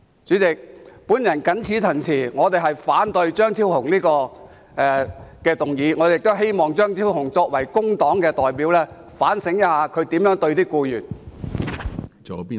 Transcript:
主席，我謹此陳辭，反對張超雄議員的議案，而我亦希望張超雄議員作為工黨的代表，應該反省一下他如何對待僱員。